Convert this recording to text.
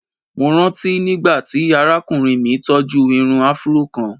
Mo ranti nigbati arakunrin mi tọju irun afro kan.